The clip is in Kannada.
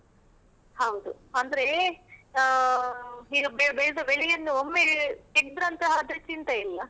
ಹೌದು, ಅಂದ್ರೆ ಆಹ್ ಈಗ ಬೇಗ ಬೆಳೆದ ಬೆಳೆಯನ್ನು ಒಮ್ಮೆಲೆ ತೆಗ್ದ್ರಂತ ಆದ್ರೆ ಚಿಂತೆ ಇಲ್ಲ.